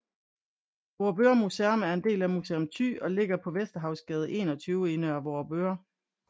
Vorupør Museum er en del af Museum Thy og ligger på Vesterhavsgade 21 i Nørre Vorupør